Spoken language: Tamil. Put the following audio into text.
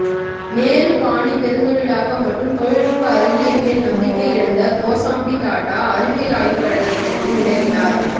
நேரு பாணி பெருந்தொழிலாக்கம் மற்றும் தொழில்நுட்ப அறிவியல் மேல் நம்பிக்கை இழந்த கோசாம்பி டாட்டா அறிவியல் ஆய்வுக்கழகத்தில் இருந்து விலகினார்